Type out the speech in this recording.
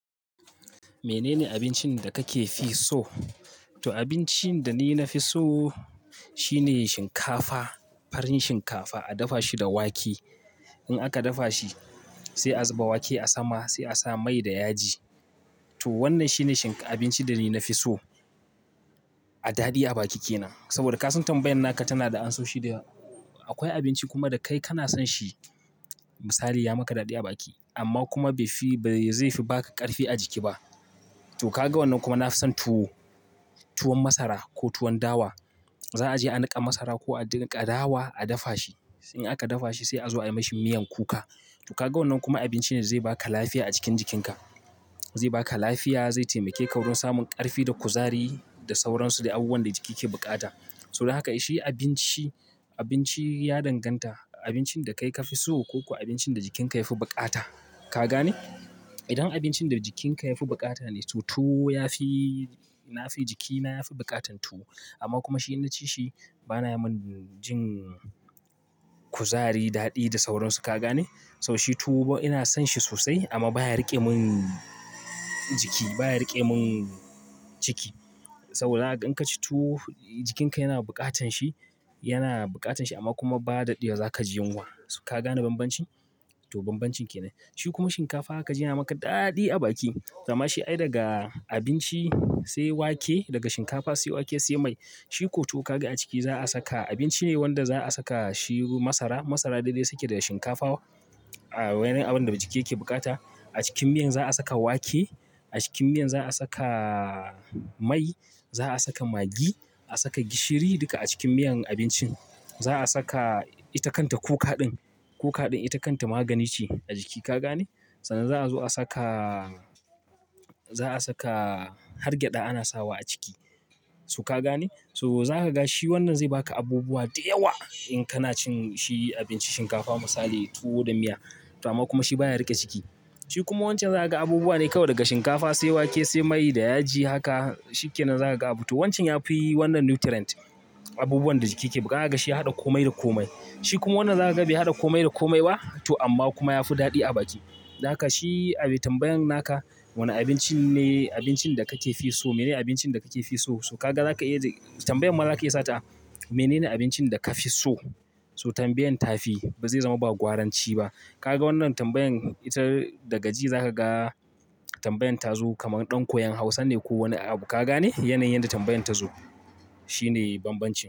Menene abincin da kake fi so? To abincin da ni na fi so shine shinkafa, farin shinkafa a dafa shi da wake. In aka dafa shi sai a zuba wake a sama sai a sa mai da yaji. To wannan shine shinkafa, abincin da ni na fi so a daɗi a baki kenan. Saboda ka san tambayan naka tana da ansoshi da yawa. Akwai abinci kuma da kai kana son shi misali ya maka daɗi a baki. Amma kuma bai fi, bai zai fi ba ka ƙarfi a jiki ba. To kaga wannan kuma na fi son tuwo, tuwon masara ko tuwon dawa. Za a je a niƙa masara ko a niƙa dawa a dafa shi. In aka dafa shi sai a zo a yi mashi miyan kuka. To kagan wannan kuma abincin da zai baka lafiya a cikin jikin ka. Zai ba ka lafiya, zai taimake ka samun karfi da kuzari da sauransu de abubuwan da jiki kai bukata. So haka shi abinci, abinci ya danganta, abincin da kai ka fi so ko abincin da jikinka yafi bukata. Ka gane? Idan abincin da jikinka yafi bukata ne to tuwo ya fi, na fi jikina yafi bukatan tuwo. Amma kuma shi in ci shi bana mun jin kuzari, daɗi da sauransu ka gane? To shi tuwo ina son shi sosai amma baya riƙe mun jiki, baya riƙe mun ciki. Saboda haka in ka ci tuwo jikinka yana bukatan shi, yana bukatan shi amma kuma ba dadewa za ka ji yunwa. Ka gane banbanci? To banbancin kenan. Shi kuma shinkafa za ka ji yana maka daɗi a baki. Zama shi ai daga abinci sai wake, daga shinkafa sai wake sai mai. Shi ko to kagan a ciki za a saka abinci wanda za a saka shi masara dede suke da shinkafa a wani abun da ciki yake bukata. A ckin miya za a saka wake. A cikin miya za a saka mai za a saka maggi, a saka gishiri duka a cikin miyan abincin. Za a saka ita kanta kuka din. Kuka din ita kanta magani ce na jiki ka gane. Sannan za a zo a saka, za a saka hargyaɗa ana sawa a ciki. So ka gane? To za ka ga shi wannan zai ba ka abubuwa da yawa in kana cin shi abinci shinkafa misali tuwo da miya. Amma kuma shi baya riƙe ciki. Shi kuma wancan zaka gan abubuwa ne kawai daga shinkafa sai wake sai mai da yaji. Haka shi kenan za ka ga a butu. Wancan ya fi wannan nutrients abubuwan da jiki ke bukata gan shi ya hadda komai da komai. Shi kuma wannan za ka ga bai haɗa komai da komai ba to amma kuma yafi daɗi a baki. Haka shi abu tambayan naka wane abinci ne abincin da kake fi so? Menene abincin da kake fi so? To ka ga za ka iya tambayan ma zaka iya sata menene abincin da ka fi so? So tambayan tafi, ba zai zaman ba gwaran ci ba kaga wannan tambayan ita daga ji za ka ga tambayan ta zo kaman ɗan koyon Hausa ne ko wane abu ka gane? Yanayin da tambayan ta zo. Shi ne banbanci.